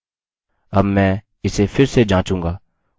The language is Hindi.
अब मैं इसे फिर से जाँचूँगा उदाहरणस्वरूप